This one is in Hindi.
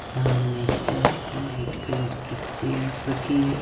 सामने की ओर व्हाइट कलर की चेयर रखी गई--